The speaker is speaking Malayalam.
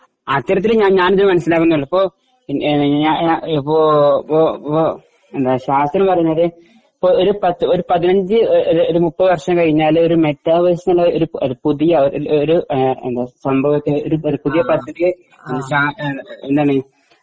അത്തരത്തില് ഒരു പത്തു ഒരു പതിനഞ്ചു ഒരു മുപ്പതു വർഷം കഴിഞ്ഞാല് ഒരു പുതിയ ഒരു സംഭവം ഒരു എന്താണ്